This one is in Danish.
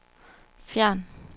fjern